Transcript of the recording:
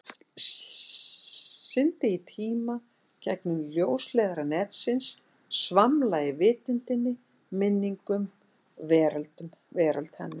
Syndi í tíma, gegnum ljósleiðara netsins, svamla í vitundinni, minningum, veröld hennar.